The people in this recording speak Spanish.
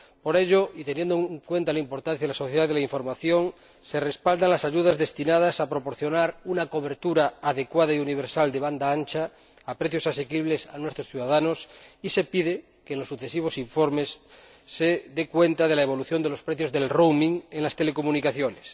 Por ello, y teniendo en cuenta la importancia de la sociedad de la información, se respaldan las ayudas destinadas a proporcionar una cobertura adecuada y universal de banda ancha, a precios asequibles, a nuestros ciudadanos y se pide que en los sucesivos informes se dé cuenta de la evolución de los precios del roaming en las telecomunicaciones.